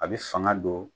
A bɛ fanga don